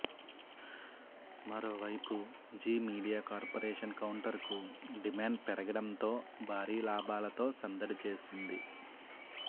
మరోవైపు Zee Media Corporation కౌంటర్కూ demand పెరగడంతో భారీ లాభాలతో సందడి చేస్తోంది